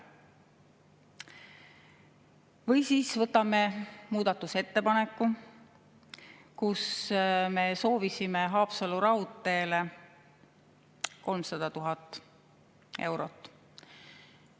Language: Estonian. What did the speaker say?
Või võtame muudatusettepaneku, millega me soovisime Haapsalu raudteele 300 000 eurot.